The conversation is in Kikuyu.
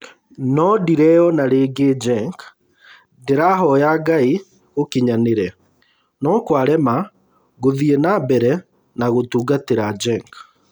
No ndireyona rĩngĩ Genk, ndĩrahoya Ngai gũkinyanĩre, no kwarema ngũthiĩ na mbere na gũtungatĩra Genk